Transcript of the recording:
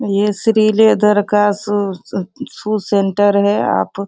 ये श्री लेदर का shoe shoe centre है आप --